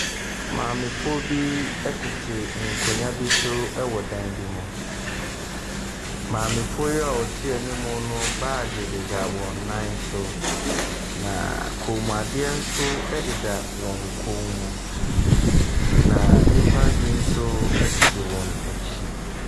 Maamefoɔ bi tete nkonnwa bi so wɔ dan bi mu. Maamefoɔ yi a wɔte anim no, baage deda wɔn nan so, na kɔnmuadeɛ nso deda wɔn kɔn mu. Na nnipa bi nso tete wɔn akyi.